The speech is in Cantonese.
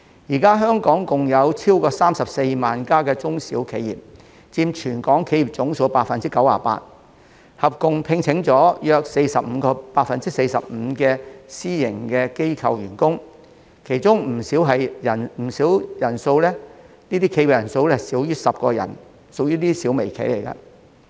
現時香港共有超過34萬間中小企，佔全港企業總數 98%， 合共聘用約 45% 的私營機構員工，當中不小企業的人數少於10人，屬於小微企。